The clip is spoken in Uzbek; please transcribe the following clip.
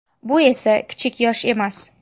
Bu esa kichik yosh emas.